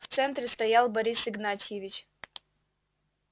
в центре стоял борис игнатьевич